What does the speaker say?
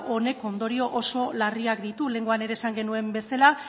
honek ondoriok oso larriak ditu lehenengoan ere esan genuen bezala